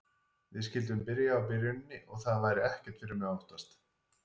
Við skyldum byrja á byrjuninni og það væri ekkert fyrir mig að óttast.